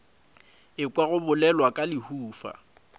ekwa go bolelwa ka lehufa